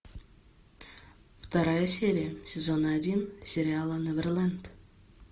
вторая серия сезона один сериала неверленд